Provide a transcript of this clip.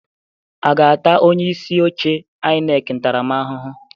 A ga-ata onye isi oche INEC ntaramahụhụ?